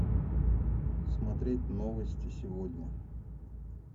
смотреть новости сегодня